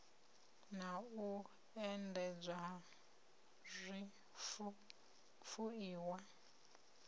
na u endedzwa ha zwifuiwa